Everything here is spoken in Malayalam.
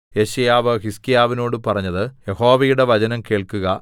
യെശയ്യാവ് ഹിസ്കീയാവിനോട് പറഞ്ഞത് യഹോവയുടെ വചനം കേൾക്കുക